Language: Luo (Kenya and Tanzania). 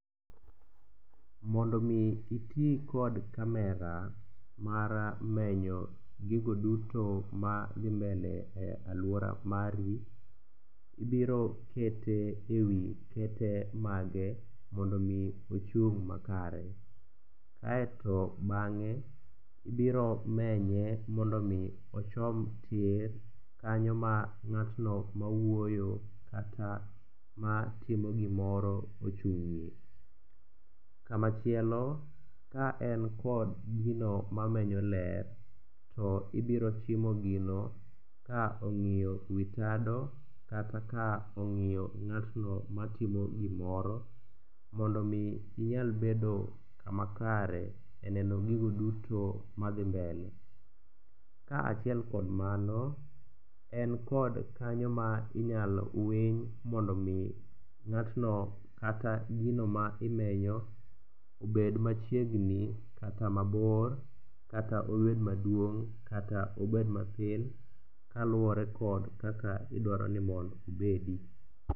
Mondo omi iti kod camera mar menyo gigo duto madhi mbele e alwora mari, ibiro kete e wi kete mage mondo omi ochung' makare, aeto bang'e ibiro menye mondo omi ochom tir kanyo ma ng'atno mawuoyo kata matimo gimoro ochung'ie. Kamachielo, ka en kod gino mamenyo ler to ibiro chimo gino ka ong'iyo wi tado kata ka ong'iyo ng'atno matimo gimoro, mondo omi inyal bedo kama kare e neno gigo duto madhi mbele. Kaachiel kod mano, en kod kanyo ma inyalo winy mondo omi ng'atno kata gino ma imenyo obed machiegni kata mabor kata obed maduong' kata obed matin kaluwore kod kaka idwaro ni mondo obedi.